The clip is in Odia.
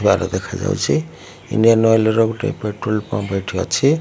ବାର ଦେଖା ଯାଉଛି। ଇଣ୍ଡିଆନ୍ ଅଏଲ୍ ର ଗୋଟେ ପେଟ୍ରୋଲ ପମ୍ପ ଏଠି ଅଛି।